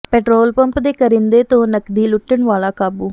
petrol pump ਦੇ ਕਰਿੰਦੇ ਤੋਂ ਨਕਦੀ ਲੁੱਟਣ ਵਾਲਾ ਕਾਬੂ